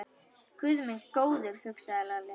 Guð minn góður, hugsaði Lalli.